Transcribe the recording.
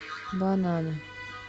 бананы